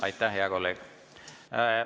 Aitäh, hea kolleeg!